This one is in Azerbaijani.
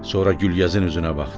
Sonra Gülgəzin üzünə baxdı.